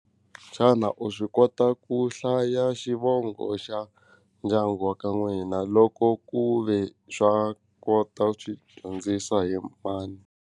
Xana u swi kota ku hlaya xivongo xa ndyangu wa ka n'wina loko ku ve swa kota swi dyondzisa hi mani.